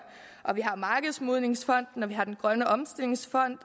vi har markedsmodningsfonden vi har grøn omstillingsfond